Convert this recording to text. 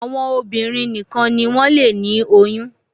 àwọn obìnrin nìkàn ní wón lè ní oyún